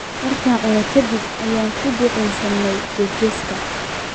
markaan cunnay ka dib ayaanu ku ducaysanay jeesjeeska